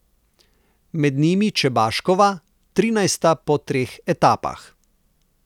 Med njimi Čebaškova, trinajsta po treh etapah.